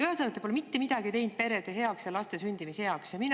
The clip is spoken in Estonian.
Ühesõnaga, te pole mitte midagi teinud perede heaks ja laste sündimise.